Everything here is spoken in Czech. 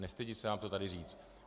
Nestydím se vám to tady říci.